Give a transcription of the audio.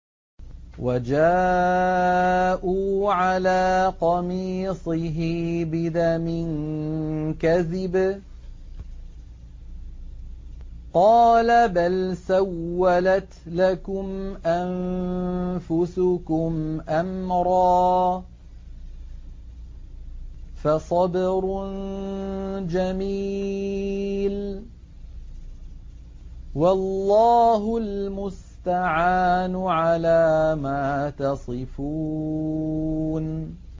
وَجَاءُوا عَلَىٰ قَمِيصِهِ بِدَمٍ كَذِبٍ ۚ قَالَ بَلْ سَوَّلَتْ لَكُمْ أَنفُسُكُمْ أَمْرًا ۖ فَصَبْرٌ جَمِيلٌ ۖ وَاللَّهُ الْمُسْتَعَانُ عَلَىٰ مَا تَصِفُونَ